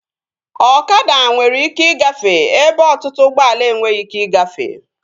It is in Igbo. Ọkada nwere ike igafee ebe ọtụtụ ụgbọala enweghị ike igafee